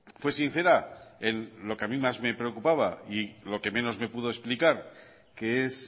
fue sincera en lo que a mí más me preocupaba y lo que menos me pudo explicar que es